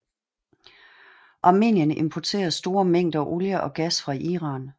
Armenien importerer store mængder olie og gas fra Iran